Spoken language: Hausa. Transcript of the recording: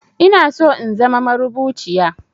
Inaso in zama marubuciya